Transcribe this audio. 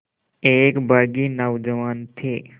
एक बाग़ी नौजवान थे